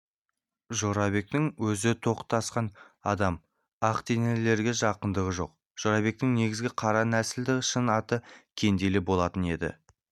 жорабектің өзі тоқтасқан адам ақ денелілерге жақындығы жоқ жорабектің негізі қара нәсілді шын аты кенделе болатын енді